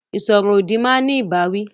Ìsọ̀rọ̀-òdì máa ní ìbáwí.